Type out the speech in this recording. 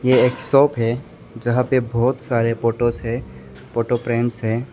ये एक शॉप है जहां पे बहुत सारे फोटोस है फोटो फ्रेम्स हैं।